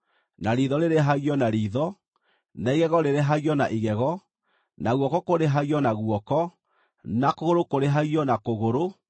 riitho rĩrĩhagio na riitho, na igego rĩrĩhagio na igego, na guoko kũrĩhagio na guoko, na kũgũrũ kũrĩhagio na kũgũrũ, na